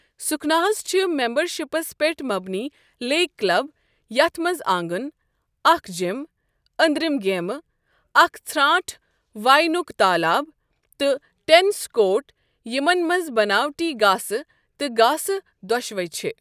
سُکھنا ہَس چھِ میمبَرشِپس پٮ۪ٹھ مبنی لیک کلب یتھ منٛز آنگن، اکھ جم، أنٛدرِم گیمہٕ، اکھ ژھرٛانٛٹھ واینُک تالاب، تہٕ ٹینس کورٹ یِمن منٛز بنٲوٹی گاسہٕ تہٕ گاسہٕ دۄشوے چھِ۔